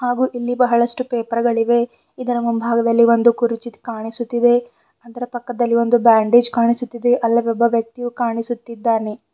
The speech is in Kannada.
ಹಾಗೂ ಇಲ್ಲಿ ಬಹಳಷ್ಟು ಪೇಪರ್ ಗಳಿವೆ ಇದರ ಮುಂಭಾಗದಲ್ಲಿ ಒಂದು ಕುರ್ಚಿ ಕಾಣಿಸುತ್ತಿದೆ ಅದರ ಪಕ್ಕದಲ್ಲಿ ಒಂದು ಬ್ಯಾಂಡೇಜ್ ಕಾಣಿಸುತ್ತಿದೆ ಅಲ್ಲಲ್ಲೊಬ್ಬ ವ್ಯಕ್ತಿಯು ಕಾಣಿಸುತ್ತಿದ್ದಾನೆ.